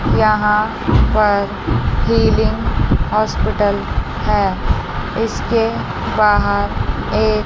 यहां पर ceiling hospital है इसके बाहर एक--